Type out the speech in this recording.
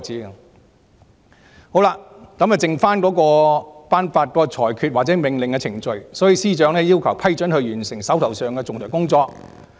由於僅剩下頒發裁決或命令的程序，所以司長要求特首批准她完成手上的仲裁工作。